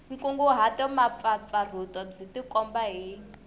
nkunguhato mpfapfarhuto byi tikomba hi